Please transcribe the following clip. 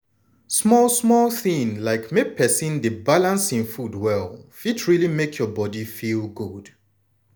small small things like make persin dey balance hin food well fit really make your body feel good.